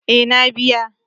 Eh na biya.